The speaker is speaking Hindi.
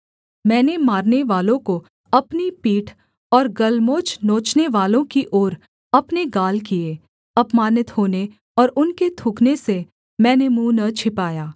मैंने मारनेवालों को अपनी पीठ और गलमोछ नोचनेवालों की ओर अपने गाल किए अपमानित होने और उनके थूकने से मैंने मुँह न छिपाया